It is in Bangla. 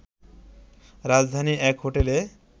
রাজধানীর এক হোটেলে